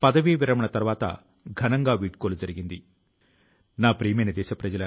గోవాకు చెందిన సాగర్ ములే గారి కృషి ని గురించి కూడా నేను తెలుసుకున్నాను